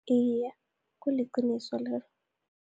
Iye, kuliqiniso lelo.